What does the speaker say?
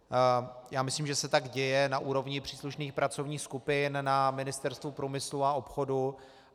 Já myslím, že se tak děje na úrovni příslušných pracovních skupin na Ministerstvu průmyslu a obchodu.